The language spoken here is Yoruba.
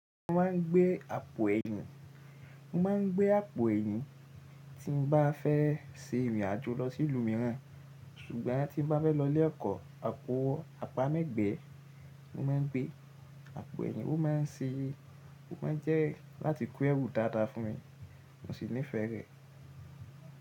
Mo máa ń gbé àpò ẹ̀yìn. Mo máa ń gbé àpò ẹ̀yìn tí mo bá fẹ́ ṣe ìrìn àjò lọ sí ìlú mìíràn. Sùgbọ́n tí mo bá fẹ́ lọ lẹ́kọ̀ọ́, àpò àpá mégbèé ni mo máa ń gbé. Àpò ẹ̀yìn wó máa ń ṣe, wó máa ń jẹ́ láti kú ẹrù dáadáa fún mi. Mo sì nífẹ̀ẹ́ rẹ̀.